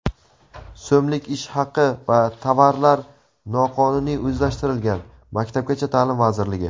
so‘mlik ish haqi va tovarlar noqonuniy o‘zlashtirilgan — Maktabgacha ta’lim vazirligi.